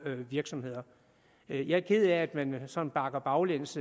virksomheder jeg er ked af at man sådan bakker baglæns